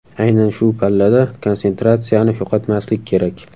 Aynan shu pallada konsentratsiyani yo‘qotmaslik kerak.